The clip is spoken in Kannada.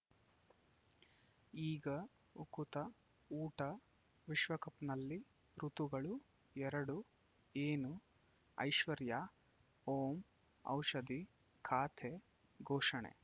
ಈಗ ಉಕುತ ಊಟ ವಿಶ್ವಕಪ್‌ನಲ್ಲಿ ಋತುಗಳು ಎರಡು ಏನು ಐಶ್ವರ್ಯಾ ಓಂ ಔಷಧಿ ಖಾತೆ ಘೋಷಣೆ